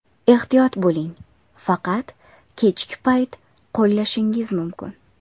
Ehtiyot bo‘ling: faqat kechki payt qo‘llashingiz mumkin!